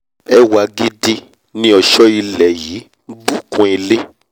ẹwà gidi ni ọ̀ṣọ́ ilẹ̀ yí nbù kún ilé